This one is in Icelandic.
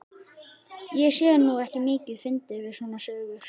Ég sé nú ekki mikið fyndið við svona sögur.